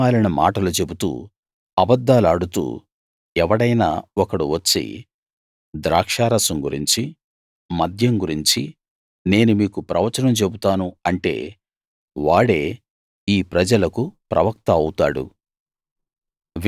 పనికి మాలిన మాటలు చెబుతూ అబద్ధాలాడుతూ ఎవడైనా ఒకడు వచ్చి ద్రాక్షారసం గురించి మద్యం గురించి నేను మీకు ప్రవచనం చెబుతాను అంటే వాడే ఈ ప్రజలకు ప్రవక్త అవుతాడు